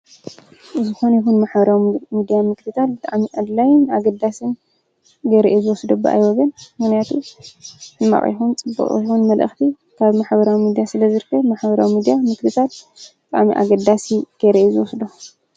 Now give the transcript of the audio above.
ዝኮነ ይኩን ማሕበራዊ ሚድያ ምክትታል ብጣዕሚ ኣድላይን ኣገዳስን ገይረ እየ ዝዎስዶ በኣይ ወገን። ምክንያቱ ሕማቅ ይኩን ጽቡቅ ይኩን መልእክቲ ካብ ማሕበራዊ ሚድያ ስለዝርከብ ማሕበራዊ ሚድያ ምክትታል ብጣዕሚ ኣገዳሲ ገይረ እየ ዝወስዶ።